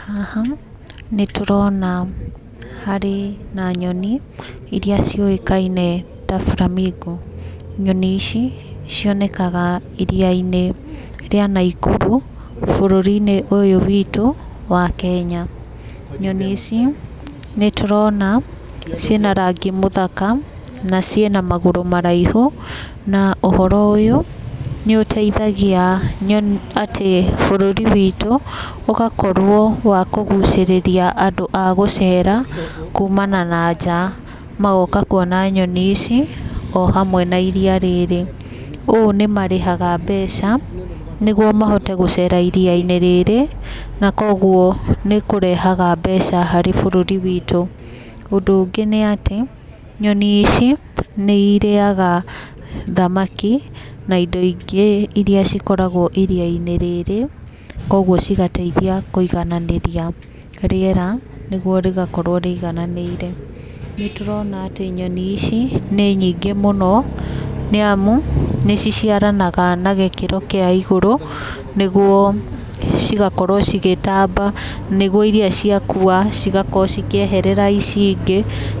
Haha nĩ tũrona harĩ na nyoni irĩa ciũĩkaine ta Flamingo. Nyoni ici cionekaga iria-ini ria Naikuru bũrũri-inĩ ũyũ witũ wa Kenya. Nyoni ici nĩ tũrona ciĩ na rangi mũthaka na ciĩ na magũrũ maraihũ na ũhoro ũyũ nĩ ũteithagia atĩ bũrũri witũ ũgakorwo wa kũgũcĩrĩria andũ a gũceera kũma na na njaa magoka kũona nyoni ici o hamwe na irĩa rĩrĩ. Ũũ nĩ marĩhaga mbeca nĩgũo mahote gũceera iria-inĩ rĩrĩ na kogũo nĩ kũrehaga mbeca harĩ bũrũri witũ. Ũndũ ũngĩ nĩ atĩ nyoni ici nĩ ĩrĩaga thamaki na indo ingĩ ĩrĩa cĩkoragwo iria-inĩ rĩrĩ kogũo cigateithia kũigananĩrĩa rĩera nĩgũo rĩgakorwo rĩigananĩire. Nĩ tũrona atĩ nyoni ici nĩ nyingĩ mũno nĩ amũ, nĩ ciciaranaga na gĩkĩro kĩa igũrũ nĩgũo cĩgakorwo cĩgĩtamba nĩgũo irĩa cia kua cĩgakorwo cĩkĩeherera ici ingĩ